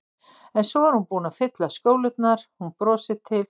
En svo er hún búin að fylla skjólurnar, hún brosir til